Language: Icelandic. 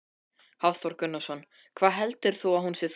Hafþór Gunnarsson: Hvað heldur þú að hún sé þung?